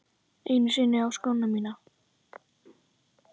Einu sinni á skóna mína.